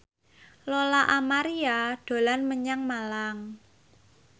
Lola Amaria dolan menyang Malang